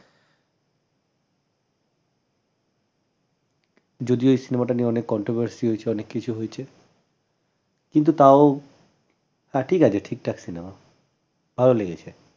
যদিও এই cinema টা নিয়ে অনেক controversy হয়েছে অনেককিছু হয়েছে কিন্তু তাও তা ঠিক আছে ঠিকঠাক cinema ভাল লেগেছে ।